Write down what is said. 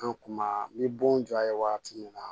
An kuma ni bon jɔ ye waati min na